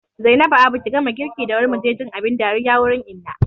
Zainabu abu ki gama girki da wuri muje jin abin dariya wurin Inna